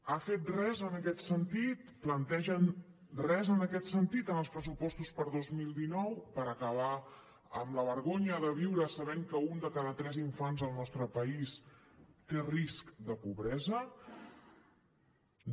ha fet res en aquest sentit plantegen res en aquest sentit en els pressupost per a dos mil dinou per acabar amb al vergonya de viure sabent que un de cada tres infants al nostre país té risc de pobresa no